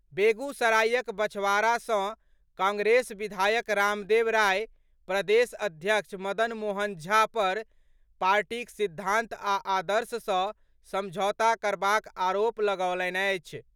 बेगूसरायक बछवाड़ा सँ कांग्रेस विधायक रामदेव राय, प्रदेश अध्यक्ष मदन मोहन झा पर पार्टीक सिद्धांत आ आदर्श सँ समझौता करबाक आरोप लगौलनि अछि।